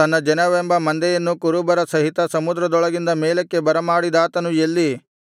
ತನ್ನ ಜನವೆಂಬ ಮಂದೆಯನ್ನು ಕುರುಬರ ಸಹಿತ ಸಮುದ್ರದೊಳಗಿಂದ ಮೇಲಕ್ಕೆ ಬರಮಾಡಿದಾತನು ಎಲ್ಲಿ